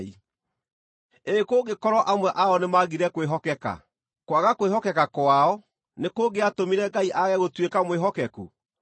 Ĩ kũngĩkorwo amwe ao nĩmagire kwĩhokeka, kwaga kwĩhokeka kwao, nĩkũngĩatũmire Ngai aage gũtuĩka mwĩhokeku?